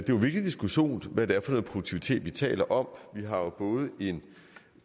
en vigtig diskussion hvad det er noget produktivitet vi taler om vi har jo både en